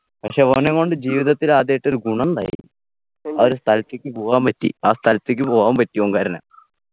പക്ഷെ ഓനെ കൊണ്ട് ജീവിതത്തിലാദ്യായിട്ടൊരു ഗുണണ്ടായി ആ ഒരു സ്ഥലത്തേക്ക് പോവാൻ പറ്റി ആ സ്ഥലത്തേക്ക് പോവാൻ പറ്റി ഓൻ കാരണം